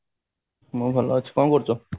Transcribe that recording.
ମୁଁ ବି ଭଲ ଅଛି କଣ କରୁଛ